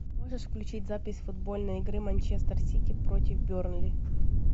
можешь включить запись футбольной игры манчестер сити против бернли